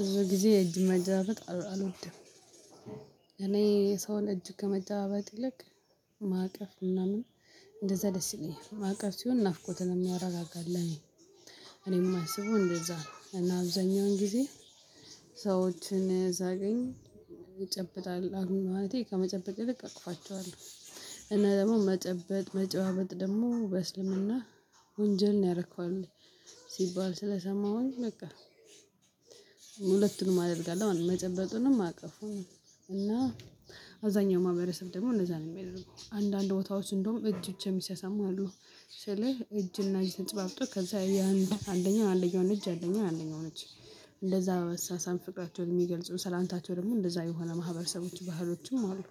ብዙ ጊዜ የእጅ መጨባበጥ አልወድም። እኔ የሰውን እጅ ከመጨባበጥ ይልቅ ማቀፍ ምናምን እንደዛ ደስ ይለኛል ማቀፍ ሲሆን ናፍቆትን የሚያረጋጋ ለኔ። እኔም የማስበው እንደዛ ነው። እና አብዛኛውን ጊዜ ሰዎችን ሳገኝ አሁን ማለቴ ከመጨበጥ ልክ አቅፋቸዋለሁ። እኔ ደግሞ መጨበጥ መጨባበጥ ደግሞ በእስልምና ወንጀል ነው ያረከዋል ሲባል ስለሰማሁኝ በቃ። አደርጋለሁ መጨበጥንም ማቀፉን እና አብዛኛው ማህበረሰብ ደግሞ እንደዛ ነው ሚያደረገው አንዳንድ ቦታዎች እንደውም እጅ ብቻ የሚሳሳሙ አሉ። ስልህ እጅና እጅ ተጨባብጦ ከዛ ያንደኛው አንደኛው እጅ አንደኛው አንደኛው እጅ እንደዛ በመሳሳም ፍቅራቸው የሚገልጹ ሰላምታቸው ደግሞ እንደዛ የሆነ ማህበረሰቦች ባህሎችም አሉ።